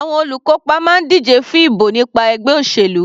Àwọn olùkópa máa ń díje fún ìbò nípa ẹgbẹ́ òṣèlú.